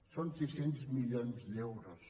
són sis cents milions d’euros